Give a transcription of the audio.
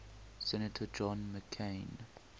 senator john mccain